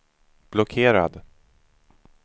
blockerad